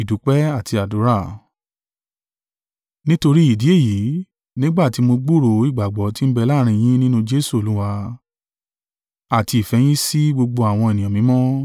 Nítorí ìdí èyí, nígbà tí mo ti gbúròó ìgbàgbọ́ ti ń bẹ láàrín yín nínú Jesu Olúwa, àti ìfẹ́ yín sí gbogbo àwọn ènìyàn mímọ́.